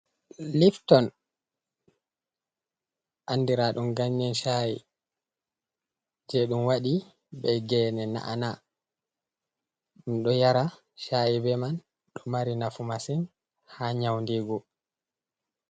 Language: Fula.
Lifton andira ɗum ganyen shayi. Jei ɗum waɗi be gene na'ana ɗum ɗo yara shayi be man ɗo mari nafu masin ha nyaundingu.